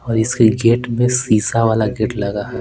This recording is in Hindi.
और इसके गेट में शीशा वाला गेट लगा है।